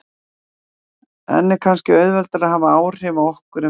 En er kannski auðveldara að hafa áhrif á okkur en við höldum?